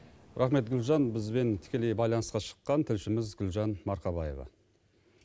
рақмет гүлжан бізбен тікелей байланысқа шыққан тілшіміз гүлжан марқабаева